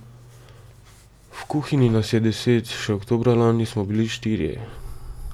V kuhinji nas je deset, še oktobra lani smo bili štirje.